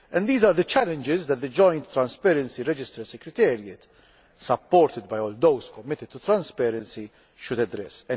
These are the challenges that the joint transparency register secretariat, supported by all those committed to transparency, should address.